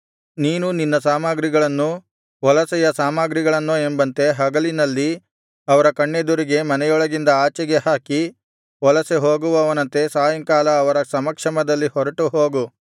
ನೀನು ನಿನ್ನ ಸಾಮಗ್ರಿಗಳನ್ನು ವಲಸೆಯ ಸಾಮಗ್ರಿಗಳನ್ನೋ ಎಂಬಂತೆ ಹಗಲಿನಲ್ಲಿ ಅವರ ಕಣ್ಣೆದುರಿಗೆ ಮನೆಯೊಳಗಿಂದ ಆಚೆಗೆ ಹಾಕಿ ವಲಸೆ ಹೋಗುವವನಂತೆ ಸಾಯಂಕಾಲ ಅವರ ಸಮಕ್ಷಮದಲ್ಲಿ ಹೊರಟು ಹೋಗು